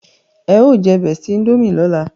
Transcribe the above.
e o je bestie indomie lọla